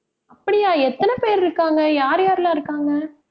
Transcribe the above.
அப்படியா? எத்தனை பேர் இருக்காங்க யார் யாரெல்லாம் இருக்காங்க